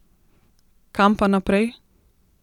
Kam pa naprej?